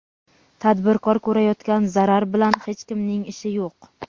Tadbirkor ko‘rayotgan zarar bilan hech kimning ishi yo‘q.